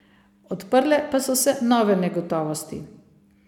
Odprle pa so se nove negotovosti.